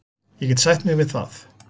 Ég get sætt mig við það.